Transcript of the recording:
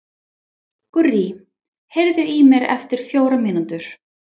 Gurrí, heyrðu í mér eftir fjórar mínútur.